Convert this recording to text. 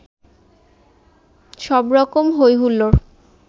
সবরকম হৈ হুল্লোড়